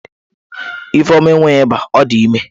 Ifeoma enweghi iba,o di ime